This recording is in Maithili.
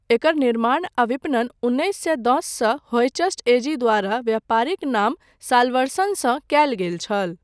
एकर निर्माण आ विपणन उन्नैस सए दससँ होयचस्ट एजी द्वारा व्यापारिक नाम सालवर्सनसँ कयल गेल छल।